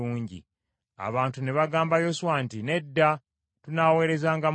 Abantu ne bagamba Yoswa nti, “Nedda, tunaweerezanga Mukama .”